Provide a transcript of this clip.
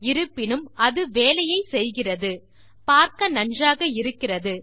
இருப்பினும் அது வேலையை செய்கிறது பார்க்க நன்றாக இருக்கிறது